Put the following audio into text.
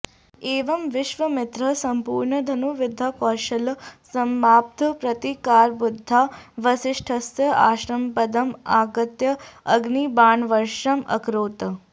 एवं विश्वामित्रः सम्पूर्णं धनुर्विद्याकौशलं सम्पाद्य प्रतीकारबुद्ध्या वसिष्ठस्य आश्रमपदम् आगत्य अग्निबाणवर्षम् अकरोत्